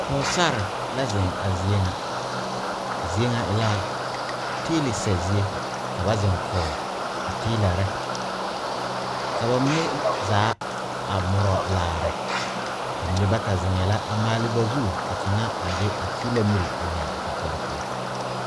Pɔgɔsar la zeŋ a zie ŋa. A zie ŋa e la teile sɛ zie. Ka ba zeŋ kɔɔ a teelare. Ka ba mene zaa a muro laare. Ba mene bata zeŋɛ la a maale ba zu ka kanga a de a teela mir a yɛre o kɔkɔre poʊ.